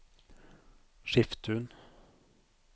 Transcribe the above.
Skiftun